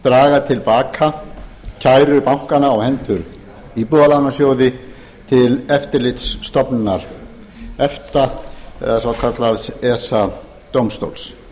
draga til baka kæru bankanna á hendur íbúðalánasjóði til eftirlitsstofnunar efta eða svokallaðs esa dómstóls